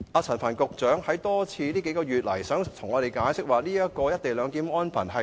陳帆局長近月多次向我們解釋，指其他國家也有"一地兩檢"的安排。